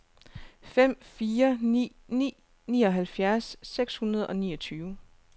fem fire ni ni nioghalvfjerds seks hundrede og niogtyve